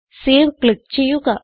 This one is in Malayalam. സേവ് ക്ലിക്ക് ചെയ്യുക